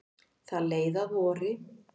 Það leið að vori.